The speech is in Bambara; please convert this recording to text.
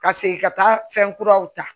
Ka segin ka taa fɛn kuraw ta